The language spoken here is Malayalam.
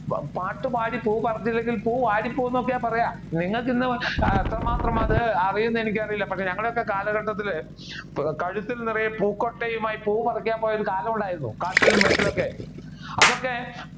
പാട്ട് പാടി പൂ പറത്തിയില്ലെങ്കിൽ പൂ വാടി പോകും എന്നൊക്കെയാണ് പറയുക നിങ്ങൾക്ക് ഇന്ന് എത്രമാത്രം അത് അറിയുന്നു എനിക്ക് അറിയില്ല പക്ഷെ ഞങ്ങളുടെ ഒക്കെ കാലഘട്ടത്തിൽ കഴുത്തിൽ നിറയെ പൂക്കൊട്ടയുമായി പൂ പറിക്കാൻ പോയ ഒരു കാലമുണ്ടായിരുന്നു കാട്ടിലും വീട്ടിലും ഒക്കെ അതൊക്കെ